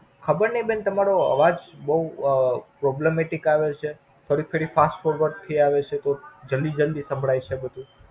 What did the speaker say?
ખબર ની બેન તમારો અવાજ બોવ Problem મટિક આવે છે. થોડી ફેરી Fast કોકવાર તો જલ્દી જલ્દી સંભળાય છે બધું.